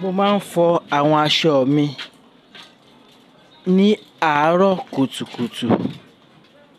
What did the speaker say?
Mo máa ń fọ àwọn aṣọ mi ní àárọ̀ kùtùkùtù